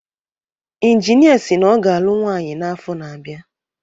Injinia si na ọ ga-alụ nwaanyi n’afọ na-abịa